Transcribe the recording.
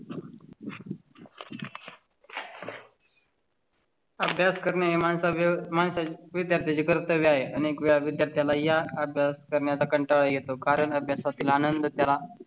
अभ्यास करणे विद्यार्थ्यांचे कर्तव्य आहे आणि एक वेळा त्याला या अभ्यास करण्याचा कंटाळा येतो. कारण अभ्यासा तील आनंद करा.